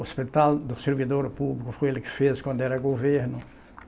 O Hospital do Servidor Público foi ele que fez quando era governo.